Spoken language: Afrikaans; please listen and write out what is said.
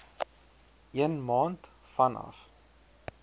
een maand vanaf